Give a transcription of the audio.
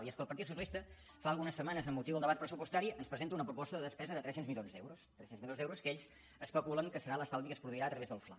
i és que el partit socialista fa algunes setmanes amb motiu del debat pressupostari ens presenta una proposta de despesa de tres cents milions d’euros tres cents milions d’euros que ells especulen que serà l’estalvi que es produirà a través del fla